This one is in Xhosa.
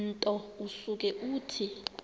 nto usuke uthi